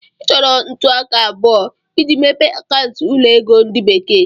Ị chọrọ ntụaka abụọ iji mepee akaụntụ ụlọ ego ndi bekee.